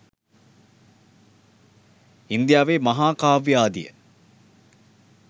ඉන්දියාවේ මහා කාව්‍ය ආදිය